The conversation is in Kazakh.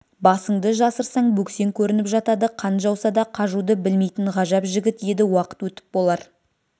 басыңды жасырсаң бөксең көрініп жатады қан жауса да қажуды білмейтін ғажап жігіт еді уақыт өтіп болар